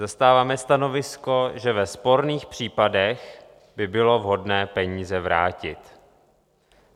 Zastáváme stanovisko, že ve sporných případech by bylo vhodné peníze vrátit.